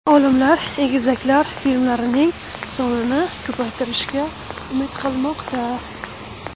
Olimlar egizaklar fillarning sonini ko‘paytirishiga umid qilmoqda.